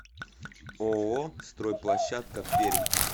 ооо стройплощадка пермь